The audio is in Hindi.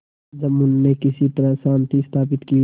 जुम्मन ने किसी तरह शांति स्थापित की